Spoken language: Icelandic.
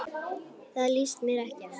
Það líst mér ekki á.